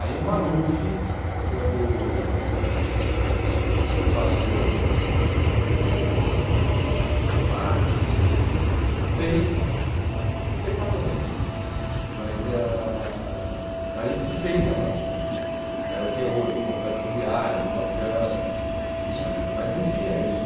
Aí o Maluf, quando passou hum em sessenta e quatro, sessen fez, ah sessenta e quatro eu não digo, mas ãh aí se fez a Praça Roosevelt, o que é hoje o Complexo Viário, o Minhocão, ãh mas não tinha isso.